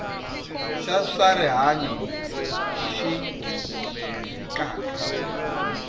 xa swa rihanyu xi fikaka